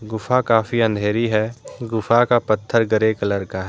गुफा काफी अंधेरी है गुफा का पत्थर ग्रे कलर का है।